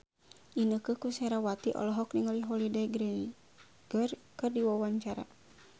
Inneke Koesherawati olohok ningali Holliday Grainger keur diwawancara